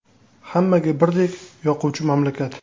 Hammaga birdek yoquvchi mamlakat .